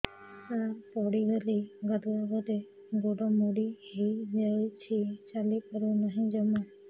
ସାର ପଡ଼ିଗଲି ଗାଧୁଆଘରେ ଗୋଡ ମୋଡି ହେଇଯାଇଛି ଚାଲିପାରୁ ନାହିଁ ଜମା